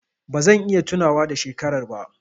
Ba zan iya tunawa da shekarar ba.